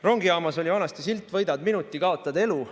Rongijaamas oli vanasti silt "Võidad minuti, kaotad elu".